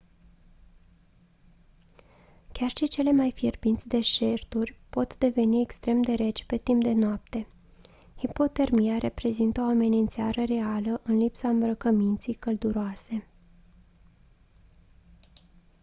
chiar și cele mai fierbinți deșerturi pot deveni extrem de reci pe timp de noapte hipotermia reprezintă o amenințare reală în lipsa îmbrăcăminții călduroase